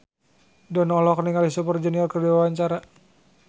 Dono olohok ningali Super Junior keur diwawancara